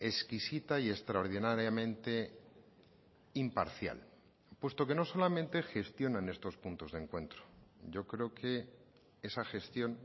exquisita y extraordinariamente imparcial puesto que no solamente gestionan estos puntos de encuentro yo creo que esa gestión